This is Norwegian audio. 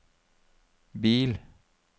bil